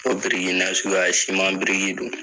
Fo biriki nasuguya biriki don